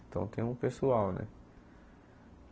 Então tem um pessoal, né?